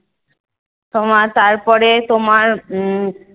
তোমার তারপরে তোমার উম